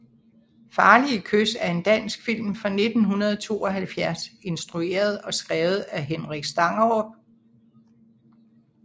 Farlige kys er en dansk film fra 1972 instrueret og skrevet af Henrik Stangerup